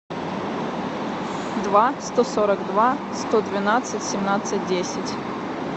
два сто сорок два сто двенадцать семнадцать десять